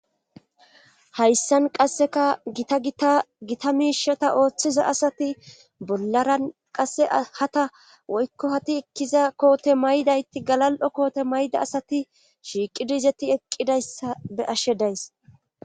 Hayssan qasseka gita tgita miishata ooththiza asati bollaran qasse hata woykko hati ekkiza koote maydayti galal7o koote mayda asati shiiqidizeti eqqidayssa be ashshe days.